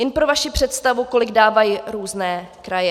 Jen pro vaši představu, kolik dávají různé kraje.